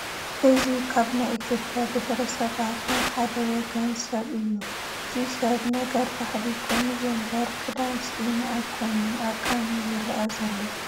እዚ ካብ ናይ ኢትዮጵያ ብሄረሰባት ናይ ሓደ ወገን ሰብ እዩ፡፡ እዚ ሰብ ነገር ባህሊ ኮይኑዎ እምበር ክዳን ስኢኑ ኣይኮነን ዕርቃኑ ዝርአ ዘሎ፡፡